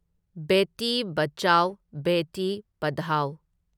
ꯕꯦꯇꯤ ꯕꯆꯥꯎ ꯕꯦꯇꯤ ꯄꯙꯥꯎ